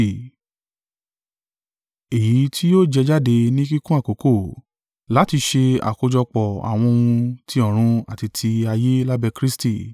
èyí tí yóò jẹ jáde ní kíkún àkókò, láti ṣe àkójọpọ̀ àwọn ohun tí ọ̀run àti ti ayé lábẹ́ Kristi.